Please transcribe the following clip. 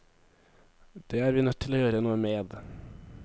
Det er vi nødt til å gjøre noe med.